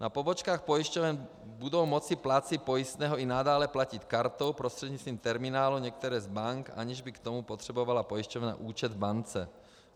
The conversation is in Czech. Na pobočkách pojišťoven budou moci plátci pojistného i nadále platit kartou prostřednictvím terminálu některé z bank, aniž by k tomu potřebovala pojišťovna účet v bance.